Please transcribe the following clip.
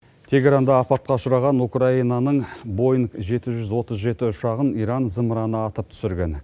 тегеранда апатқа ұшыраған украинаның боинг жеті жүз отыз жеті ұшағын иран зымыраны атып түсірген